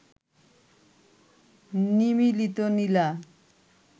নিমীলিত নীলা